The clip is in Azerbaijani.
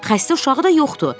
Xəstə uşağı da yoxdur.